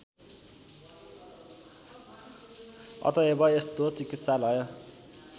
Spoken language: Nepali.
अतएव यस्तो चिकित्सालय